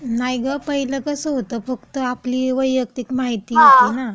नाही गं, पहिलं कसं होतं फक्त आपली वैयक्तिक माहिती होती ना.